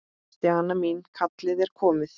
Stjana mín, kallið er komið.